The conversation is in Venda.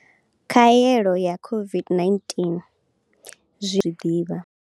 Khaelo ya COVID-19 zwine zwi ḓivha.